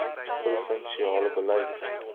provin siale beleid